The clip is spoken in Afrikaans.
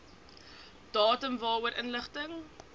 datum waarvoor inligting